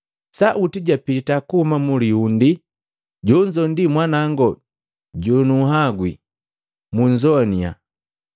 Sauti japita kuhuma mulihundi, “Jonzo ndi Mwanangu jonuwagwi, munzowaniya.”